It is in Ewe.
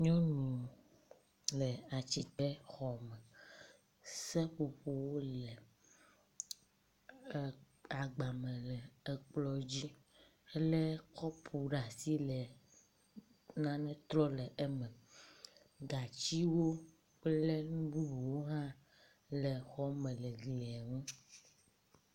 Nyɔnu le ati te xɔ me. Seƒoƒowo le agba me le ekplɔ dzi, elé kɔpu ɖe asi le nane trɔm le eme. Gatsiwo kple nu bubuwo hã le xɔ me le glia ŋu.